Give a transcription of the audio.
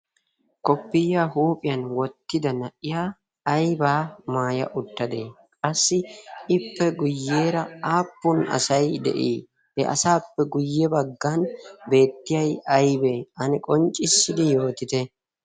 koppiyiya huuphiyan wottida na'iya aibaa maaya uttadee qassi ippe guyyeera aappun asai de'ii he asaappe guyye baggan beettiyai aybee ane qonccissidi yootite?